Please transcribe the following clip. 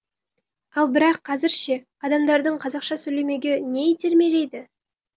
ал бірақ қазір ше адамдарды қазақша сөйлемеуге не итермелейді